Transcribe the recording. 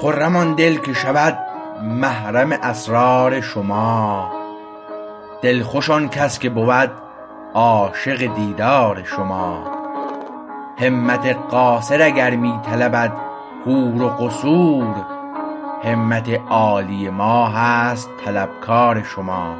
خرم آن دل که شود محرم اسرار شما دلخوش آن کس که بود عاشق دیدار شما همت قاصر اگر می طلبد حور و قصور همت عالی ما هست طلبکار شما